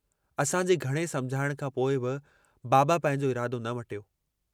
असांजे घणे समुझाइण खां पोइ बि बाबा पंहिंजो इरादो न मटियो।